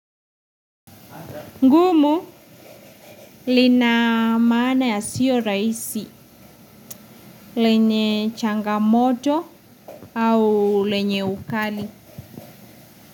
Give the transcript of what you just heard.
Ngumu lina maana ya siyo raisi, lenye changamoto au lenye ukali.